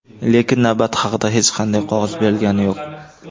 Lekin navbat haqida hech qanday qog‘oz berilgani yo‘q.